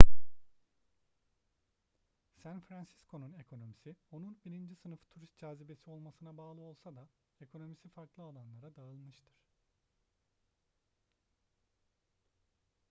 san fransisco'nun ekonomisi onun birinci sınıf turist cazibesi olmasına bağlı olsa da ekonomisi farklı alanlara dağılmıştır